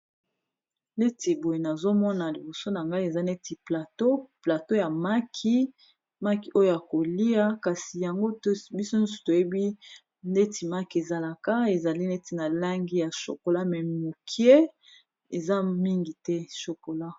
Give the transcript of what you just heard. neti boye nazomona liboso na ngai eza neti plateau ya maki maki oyo yakolia kasi yango biso nyonso toyebi neti maki ezalaka ezali neti na langi ya shokola me mokie eza mingi te shokola